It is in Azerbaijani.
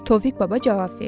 Tofiq baba cavab verdi.